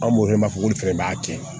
An b'o wele k'a fɔ ko olu fɛnɛ b'a tiɲɛ